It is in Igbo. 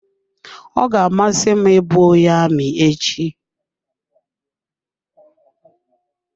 Ọ ga-amasị m ị bụ onye amị echi.